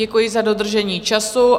Děkuji za dodržení času.